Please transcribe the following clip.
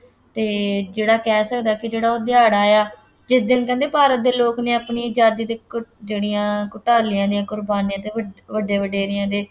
ਅਤੇ ਜਿਹੜਾ ਕਹਿ ਸਕਦਾ ਕਿ ਜਿਹੜਾ ਉਹ ਦਿਹਾੜਾ ਹੈ, ਜਿਸ ਦਿਨ ਕਹਿੰਦੇ ਭਾਰਤ ਦੇ ਲੋਕ ਨੇ ਆਪਣੇ ਆਜ਼ਾਦੀ ਦੇ ਘੁ~ ਜਿਹੜੀਆਂ ਘੁਟਾਲਿਆਂ ਦੀਆਂ ਕੁਰਬਾਨੀਆਂ ਅਤੇ ਵੱ~ ਵੱਡੇ ਵਡੇਰਿਆਂ ਦੇ